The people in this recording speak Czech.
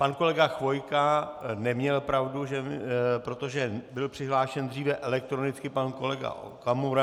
Pan kolega Chvojka neměl pravdu, protože byl přihlášen dříve elektronicky pan kolega Okamura.